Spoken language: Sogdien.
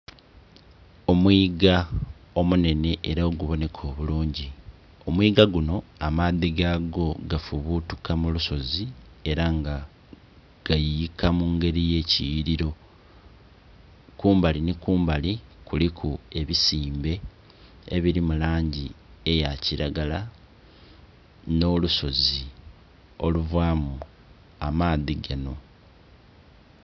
Omwiga omunhenhe ela ogubonheka obulungi. Omwiga gunho amaadhi gagwo gafubutuka mu lusozi ela nga gayuyika mu ngeli ey'ekiyughililo. Kumbali nhi kumbali kuliku ebisimbe ebili mu langi eya kilagala nh'olusozi oluvaamu amaadhi ganho.